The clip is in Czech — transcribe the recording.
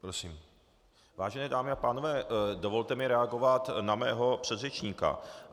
Vážené dámy a pánové, dovolte mi reagovat na mého předřečníka.